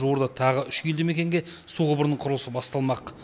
жуырда тағы үш елді мекенге су құбырының құрылысы басталмақ